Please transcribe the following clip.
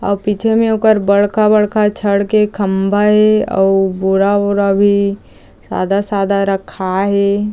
अउ पीछे में ओकर बड़का-बड़का छड़ के खम्भा ए अउ बोरा-वोरा भी सादा-सादा रखा हे।